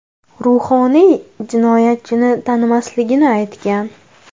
Ruhoniy jinoyatchini tanimasligini aytgan.